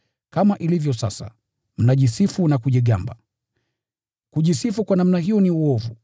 Kama ilivyo sasa, mnajisifu na kujigamba. Kujisifu kwa namna hiyo ni uovu.